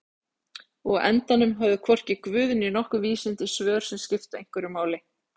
Og á endanum höfðu hvorki guð né nokkur vísindi svör sem skiptu einhverju máli.